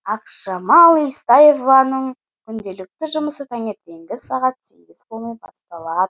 ақжамал естаеваның күнделікті жұмысы таңертеңгі сағат сегіз болмай басталады